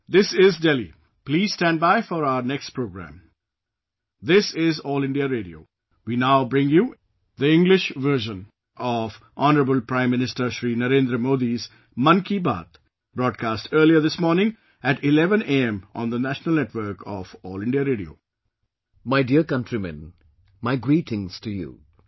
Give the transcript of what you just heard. My dear countrymen, my greetings namaskar to you all